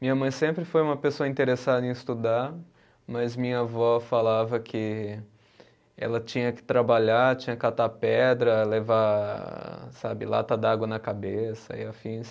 Minha mãe sempre foi uma pessoa interessada em estudar, mas minha avó falava que ela tinha que trabalhar, tinha que catar pedra, levar sabe lata de água na cabeça e afins.